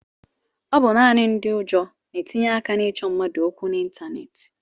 Ọ bụ naanị ndị ụjọ na-etinye aka na-ịchọ mmadụ okwu n'ịntaneetị.